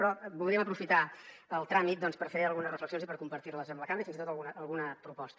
però voldríem aprofitar el tràmit per fer algunes reflexions i per compartir les amb la cambra i fins i tot alguna proposta